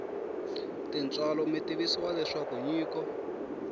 tintswalo mi tivisiwa leswaku nyiko